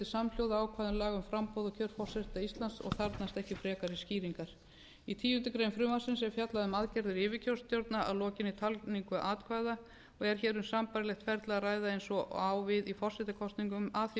samhljóða ákvæðum laga um framboð og kjör forseta íslands og þarfnast ekki frekari skýringar í tíundu greinar frumvarpsins er fjallað um aðgerðir yfirkjörstjórna að lokinni talningu atkvæða og er hér um sambærilegt ferli að ræða eins og á við í forsetakosningum að því